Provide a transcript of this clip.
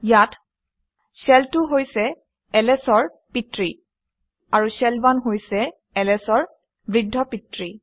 ইয়াত শেল 2 হৈছে ls অৰ পিতৃ আৰু শেল 1 হৈছে ls অৰ বৃদ্ধপিতৃ